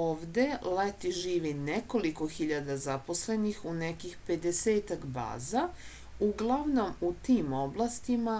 ovde leti živi nekoliko hiljada zaposlenih u nekih pedesetak baza uglavnom u tim oblastima